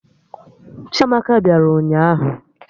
Chiamaka bịara ụnyaahụ